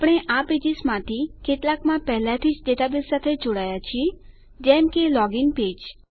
આપણે આ પેજીસ માંથી કેટલાકમાં પહેલાથી જ ડેટાબેઝ સાથે જોડાયા છીએ જેમ કે લોગીન પેજ